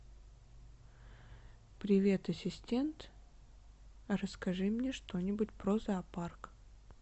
привет ассистент расскажи мне что нибудь про зоопарк